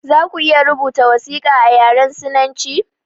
Zaku iya rubuta wasiƙa a yaren sinanci?